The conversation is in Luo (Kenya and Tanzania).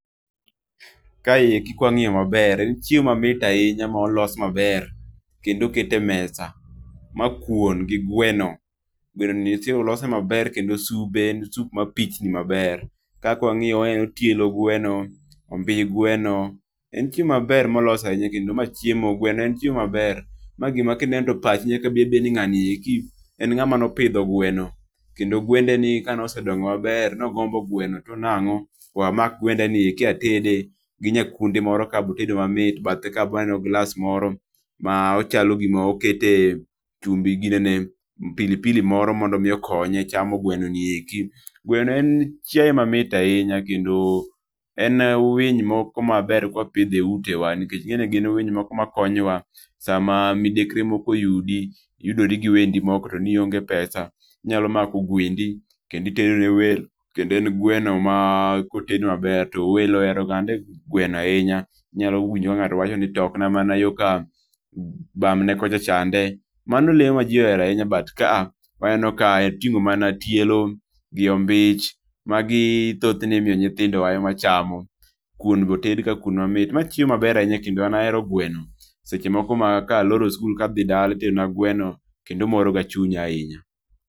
Ka eki ka wang'iyo ma ber en chiemo ma mit ahinya ma olos ma ber kendo okete mesa. Ma kwon gi gweno gweno nitie olose ma ber kendo sube sup ma pichni ma ber kaka wang'iyo waneno tielo gweno, omi gweno, en chiemo mambber ma olos ahinya kendo ma chiemo gweni en chiemo ma ber. Ma gi ma ki ineno e pachi to chal ni ngani en nga eki en ngama ne opidho gweno kendo gwende ni ka ne osedongo ma ber ne ogombo gweno to nango we amak gwenda ni eki atede gi nya gwendi moro kae be otedo mamit bathe kae be aneno glass moro ma chal gi ma okete chumbi gi nene pilipili mroo mondo mi okonye chamo gweno ni eki. gweno en chiae moro ma ber ahinya ka wapidhe e ute wa nikech ing'e ni gin winy ma konyo wa sa ma midekere moro oyudi, iyudori gio wendi moko ti ni onge pesa inyalo mako gwendi kendo itedo ne welo .Kendo en gweno ma ko oted ma ber to welo ohero gande gweno ahinya inyalo winjo ka ng'ato wacho ni tok na mana yo ka bam ne kocha chande , mano le ma ji ohero ahinya but kaa waneno ma ka oting'o tielo gi ombich , ma gi thothne imiyo mana nyithindo ema chamo kwon be oted ka kwon ma mit. Ma chiemo ma ber ahinya kendo an ahero gweno seche moko ma ka aloro skul ka adhi dala itedo na gweno kendo moro ga chunya ahinya.